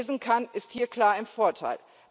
Wer lesen kann, ist hier klar im Vorteil.